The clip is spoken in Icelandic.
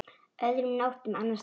Öðrum nóttum annars staðar?